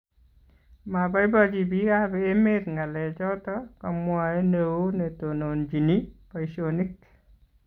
Mabaibaichi bikap emet ngalek choto kamwae ne oo netondonochini baishionik